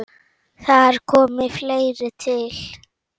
Þar komi fleira til.